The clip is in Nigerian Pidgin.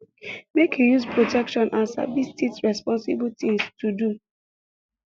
make you use protection and sabi stiits responsible things to do